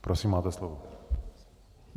Prosím, máte slovo.